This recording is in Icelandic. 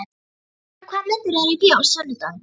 Högna, hvaða myndir eru í bíó á sunnudaginn?